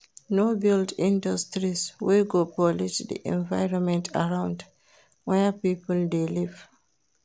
No build industries wey go pollute di environment arround where pipo de live